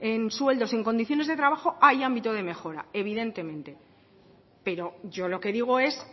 en sueldos en condiciones de trabajo hay ámbito de mejora evidentemente pero yo lo que digo es